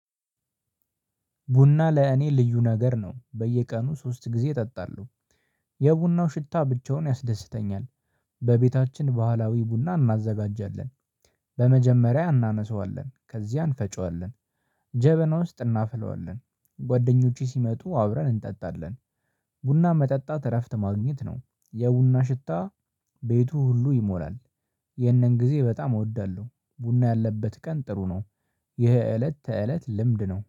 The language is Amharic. ቡና ለእኔ ልዩ ነገር ነው። በየቀኑ ሶስት ጊዜ እጠጣለሁ። የቡናው ሽታ ብቻውን ያስደስተኛል በቤታችን ባህላዊ ቡና እናዘጋጃለን በመጀመሪያ እናነሳዋለን ከዚያ እንፈጨዋለን ጀበና ውስጥ እናፈለዋለን ጓደኞቹ ሲመጡ አብረን እንጠጣለን ቡና መጠጣት እረፍት ማግኘት ነው። የቡና ሽታ ቤቱ ሁሉ ይሞላል የነን ጊዜ በጣም እወዳለሁ ቡና ያለበት ቀን ጥሩ ነው ይሄ እለት ተእለት ልምድ ነው